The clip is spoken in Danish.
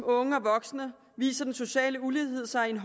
unge og voksne viser den sociale ulighed sig i